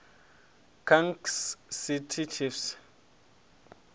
kansas city chiefs